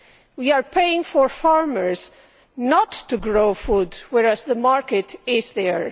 We are paying for farmers not to grow food, although the market is there.